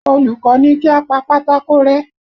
Olùkọ́ ní kí a pa pátákó rẹ́